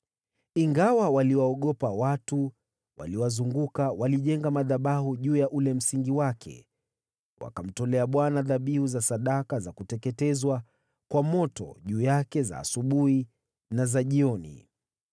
Ingawa waliwaogopa watu waliowazunguka, walijenga madhabahu juu ya ule msingi wake, wakamtolea Bwana dhabihu za sadaka za kuteketezwa kwa moto juu yake za asubuhi na za jioni.